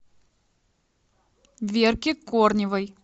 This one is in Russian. верке корневой